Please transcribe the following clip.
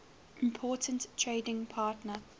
important trading partner